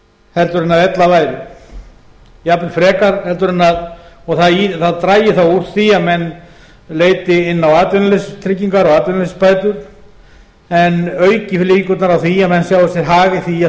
heldur en ella væri og það drægi þá úr því að menn leiti inn á atvinnuleysistryggingar og atvinnuleysisbætur en auki líkurnar á því að menn sjái sér hag í því að